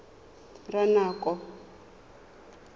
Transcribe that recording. ranoko